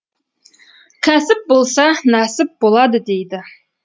кәсіп болса нәсіп болады дейді